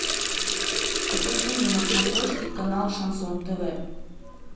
покажи мне на смотрешке канал шансон тв